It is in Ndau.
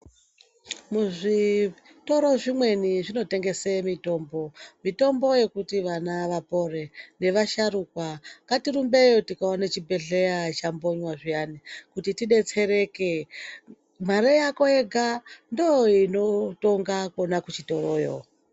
Muzvitoro zvimweni zvinotengese mitombo mitombo yekuti vana vapore nevasharukwa ngatirumbeyo tikaona chibhedhleya chambonywa zviyani kuti tidetsereke mare yako yega ndoo inotonga Kona kuchitoroyo.